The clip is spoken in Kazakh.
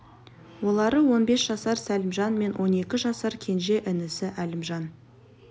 олары он бес жасар сәлімжан мен он екі жасар кенже інісі әлімжан